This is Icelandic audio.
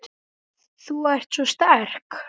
Þú ert svo sterk.